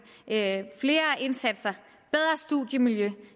flere indsatser og bedre studiemiljø